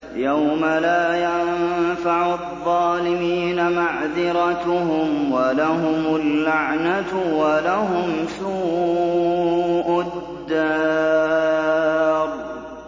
يَوْمَ لَا يَنفَعُ الظَّالِمِينَ مَعْذِرَتُهُمْ ۖ وَلَهُمُ اللَّعْنَةُ وَلَهُمْ سُوءُ الدَّارِ